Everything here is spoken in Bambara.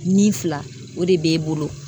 Nin fila o de b'e bolo.